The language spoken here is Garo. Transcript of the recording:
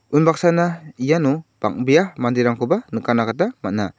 unbaksana iano bang·bea manderangkoba nikatna gita man·a.